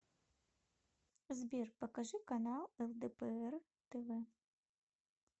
сбер покажи канал лдпр тв